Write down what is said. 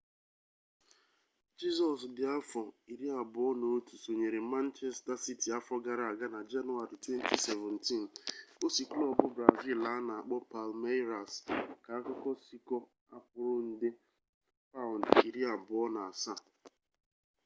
jesus di afo 21 sonyere manchester city afo gara aga na januari 2017 o si klub brazil ana akpo palmeiras k'akuko siko akwuru nde £27